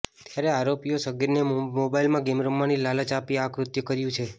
ત્યારે આરોપીએ સગીરને મોબાઈલમાં ગેમ રમવાની લાલચ આપી આ કૃત્ય કર્યુ છે